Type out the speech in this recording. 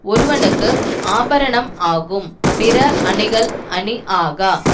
ஒருவனுக்கு ஆபரணம் ஆகும் பிற அணிகள் அணி ஆகா